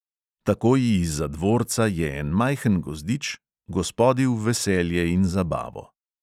Takoj izza dvorca je en majhen gozdič, gospodi v veselje in zabavo.